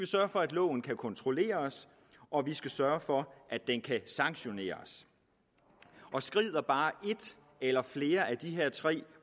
sørge for at loven kan kontrolleres og vi skal sørge for at den kan sanktioneres skrider bare et eller flere af de her tre